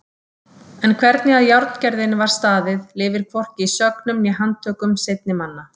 En hvernig að járngerðinni var staðið lifir hvorki í sögnum né handtökum seinni manna.